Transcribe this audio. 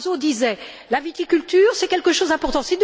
Barroso disait La viticulture, c'est quelque chose d'important.